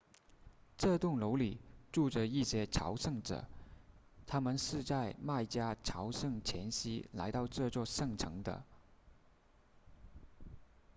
这栋楼里住着一些朝圣者他们是在麦加朝圣前夕来到这座圣城的